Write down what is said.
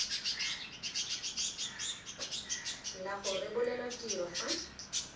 la go rebolelwa tiro fa